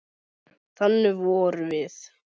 Þannig vorum við.